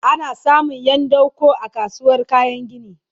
ana samun Yan dako a kasuwar kayan gini